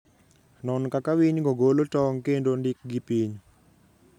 Non kaka winygo golo tong' kendo ndikgi piny.